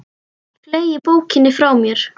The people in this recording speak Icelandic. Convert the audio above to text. Fleygi bókinni frá mér.